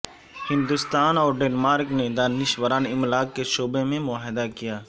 ہندوستان اور ڈنمارک نے دانشورانہ املاک کے شعبے میں معاہدہ کیا